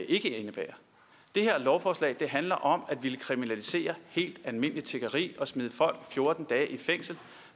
ikke indebærer det her lovforslag handler om at ville kriminalisere helt almindeligt tiggeri og smide folk fjorten dage i fængsel